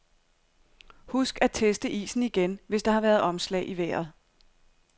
Husk at teste isen igen, hvis der har været omslag i vejret.